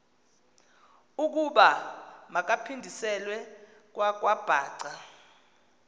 ukuba makaphindiselwe kwakwabhaca